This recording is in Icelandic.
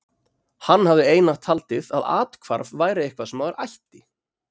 Hann hafði einatt haldið að athvarf væri eitthvað sem maður ætti.